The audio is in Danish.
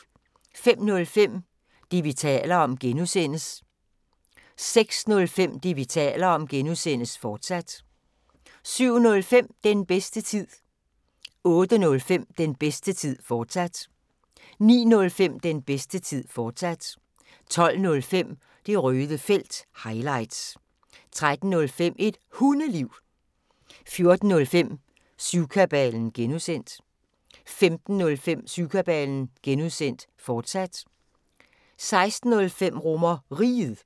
05:05: Det, vi taler om (G) 06:05: Det, vi taler om (G), fortsat 07:05: Den bedste tid 08:05: Den bedste tid, fortsat 09:05: Den bedste tid, fortsat 12:05: Det røde felt – highlights 13:05: Et Hundeliv 14:05: Syvkabalen (G) 15:05: Syvkabalen (G), fortsat 16:05: RomerRiget